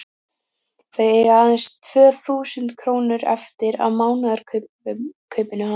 Þau eiga aðeins tvö þúsund krónur eftir af mánaðarkaupinu hans.